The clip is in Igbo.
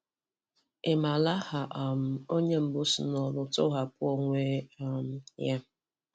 Ị mara aha um onye mbu si n'oru si n'oru tọghapụ onwe um ya.